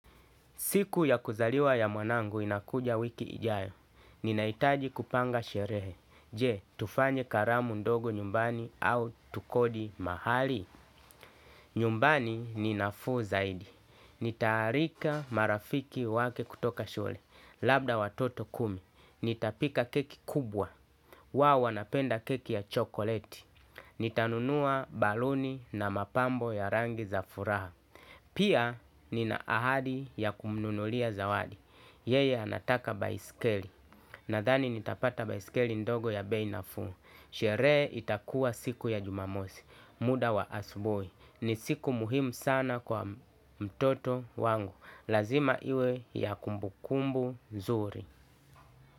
Siku ya kuzaliwa ya mwanangu inakuja wiki ijayo. Nina hitaji kupanga sherehe. Je, tufanye karamu ndogo nyumbani au tukodi mahali. Nyumbani ni nafuu zaidi. Nitaalika marafiki wake kutoka shule. Labda watoto kumi. Nita pika keki kubwa. Wao wanapenda keki ya chokoleti. Nitanunua baluni na mapambo ya rangi za furaha. Pia nina ahadi ya kumnunulia zawadi. Yeye anataka baisikeli, nadhani nitapata baisikeli ndogo ya bei nafuu. Sherehe itakuwa siku ya jumamosi, muda wa asubuhi. Ni siku muhimu sana kwa mtoto wangu. Lazima iwe ya kumbukumbu, nzuri.